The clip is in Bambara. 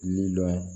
Ni dɔ